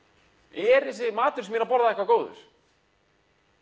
er þessi matur sem ég er að borða eitthvað góður